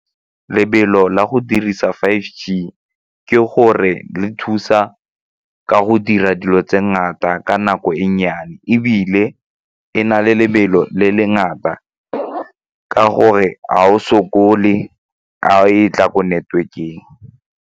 Lebelo la go dirisa five G ke gore le thusa ka go dira dilo tse ngata ka nako e nnyane ebile e na le lebelo le le ngata ka gore ga o sokole a e tla ko network-eng.